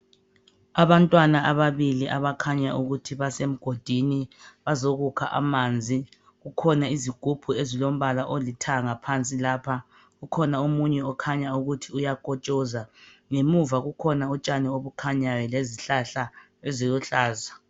Abantwana ababili abakhanya ukuthi basemgodini bazokukha amanzi kukhona izigubhu ezilombala olithanga phansi lapha ukhona omunye okhanya ukuthi uyakotshoza ngemuva kukhona utshani obukhanyayo lezihlahla eziluhlaza .